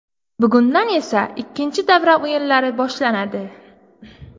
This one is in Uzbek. Bugundan esa ikkinchi davra o‘yinlari boshlanadi.